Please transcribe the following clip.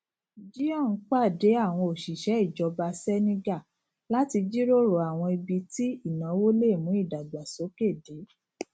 jinyong pàdé àwọn òṣìṣẹ ìjọba senegal láti jíròrò àwọn ibi tí ìnáwó lè mú ìdàgbàsókè dé